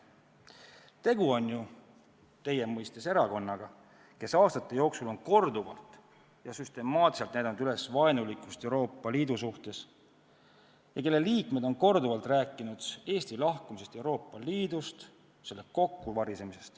Tegu on ju erakonnaga, kes aastate jooksul on korduvalt ja süstemaatiliselt näidanud üles vaenulikkust Euroopa Liidu vastu ja kelle liikmed on korduvalt rääkinud Eesti lahkumisest Euroopa Liidust, selle kokkuvarisemisest.